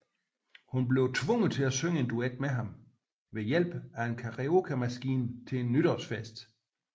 Hun bliver tvunget til at synge en duet med ham ved hjælp af en karaokemaskine til en nytårsfest